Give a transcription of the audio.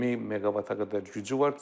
1000 meqavata qədər gücü var.